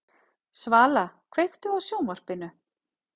Svala, kveiktu á sjónvarpinu.